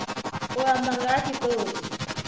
u amba nga ha tshitori